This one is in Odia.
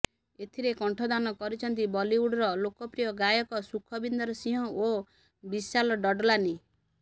ଏଥିରେ କଣ୍ଠଦାନ କରିଛନ୍ତି ବଲିଉଡର ଲୋକପ୍ରିୟ ଗାୟକ ସୁଖବିନ୍ଦର ସିଂହ ଓ ବିଶାଲ ଡଡଲାନି